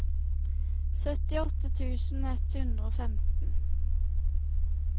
syttiåtte tusen ett hundre og femten